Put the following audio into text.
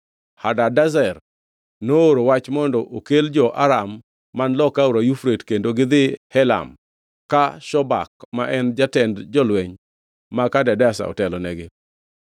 Hadadezer nooro wach mondo okel jo-Aram man loka Aora Yufrate kendo gidhi Helam ka Shobak ma en jatend jolweny mag Hadadezer, otelonegi.